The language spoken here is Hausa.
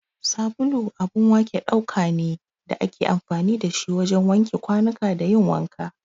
Sabulu abun wake ɗauka ne da ake amfani da shi wajen wanke kwanuka da yin wanka.